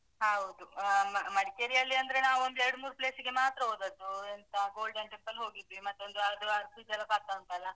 ಹೌದು ಹ್ಮ್ ಅಹ್ ಮಡಿಕೇರಿಯಲ್ಲಿ ಅಂದ್ರೆ ನಾವೊಂದು ಎರಡು ಮೂರು place ಗೆ ಮಾತ್ರ ಹೋದದ್ದು. ಎಂತ golden temple ಹೋಗಿದ್ವಿ ಮತ್ತೊಂದು ಅದು ಅರ್ಬಿ ಜಲಪಾತ ಉಂಟಲ್ಲ.